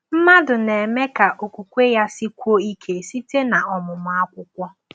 Mmadụ na-eme ka okwukwe ya sikwuo ike site n’omụmụ akwụkwọ